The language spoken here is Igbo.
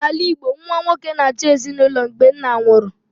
N'ala Igbo, nwa nwoke na-achị ezinụlọ mgbe nna nwụrụ